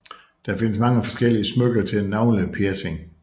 Der findes mange forskellige smykker til navlepiercinger